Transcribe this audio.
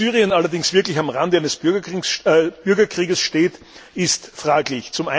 Ob Syrien allerdings wirklich am Rande eines Bürgerkriegs steht, ist fraglich.